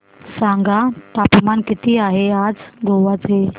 सांगा तापमान किती आहे आज गोवा चे